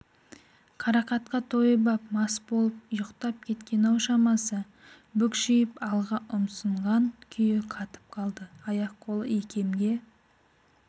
қарақатқа тойып ап мас болып ұйықтап кеткен-ау шамасы бүкшиіп алға ұмсынған күйі қатып қалды аяқ-қолы икемге